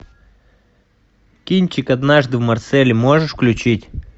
кинчик однажды в марселе можешь включить